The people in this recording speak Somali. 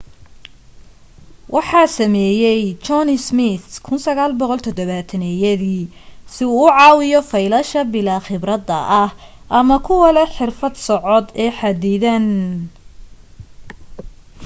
waxa sameeyay john smith 1970yadii si uu u caawiyo faylasha bilaa khibradda ah ama kuwa leh xirfad socod ee xaddidan